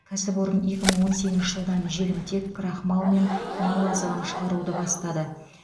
кәсіпорын екі мың он сегізінші жылдан желімтек крахмал мен мал азығын шығаруды бастады